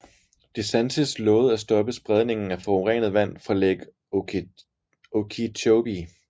DeSantis lovede at stoppe spredningen af forurenet vand fra Lake Okeechobee